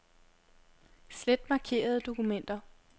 Slet markerede dokumenter.